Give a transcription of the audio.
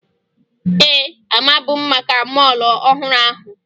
Ee, amabu m maka mọọlụ ọhụrụ ahụ